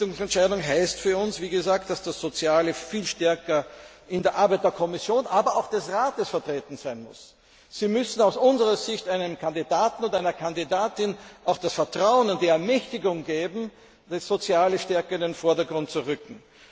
Richtungsentscheidung heißt für uns, dass das Soziale viel stärker in der Arbeit der Kommission, aber auch des Rates vertreten sein muss. Sie müssen aus unserer Sicht einem Kandidaten oder einer Kandidatin auch das Vertrauen und die Ermächtigung geben, die soziale Stärke in den Vordergrund zu rücken.